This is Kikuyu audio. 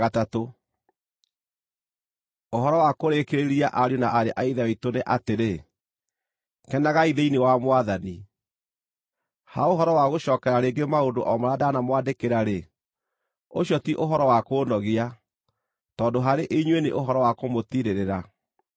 Ũhoro wa kũrĩkĩrĩria ariũ na aarĩ a Ithe witũ nĩ atĩrĩ, kenagai thĩinĩ wa Mwathani! Ha ũhoro wa gũcookera rĩngĩ maũndũ o marĩa ndanamwandĩkĩra-rĩ, ũcio ti ũhoro wa kũũnogia, tondũ harĩ inyuĩ nĩ ũhoro wa kũmũtiirĩrĩra.